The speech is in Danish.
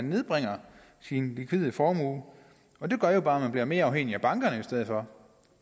nedbringe sin likvide formue og det gør jo bare at man bliver mere afhængig af bankerne i stedet for